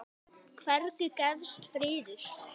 Hvergi gefst friður.